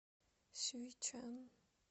сюйчан